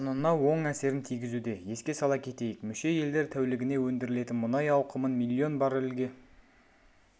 құнына оң әсерін тигізуде еске сала кетейік мүше елдер тәулігіне өндірілетін мұнай ауқымын миллион баррельге